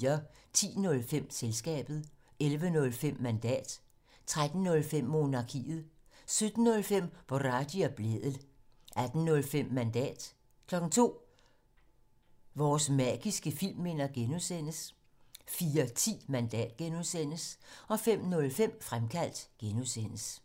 10:05: Selskabet 11:05: Mandat 13:05: Monarkiet 17:05: Boraghi og Blædel 18:05: Mandat 02:00: Vores magiske filmminder (G) 04:10: Mandat (G) 05:05: Fremkaldt (G)